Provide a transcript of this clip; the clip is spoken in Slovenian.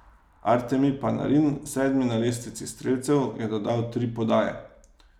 Artemi Panarin, sedmi na lestvici strelcev, je dodal tri podaje.